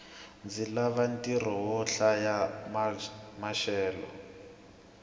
ndzi lava ntirho wo hlaya maxelo